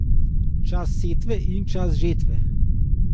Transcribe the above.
Čas setve in čas žetve.